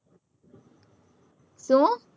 શું?